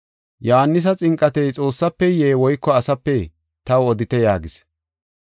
Yohaanisa xinqatey Xoossafeye woyko asapee? Taw odite” yaagis.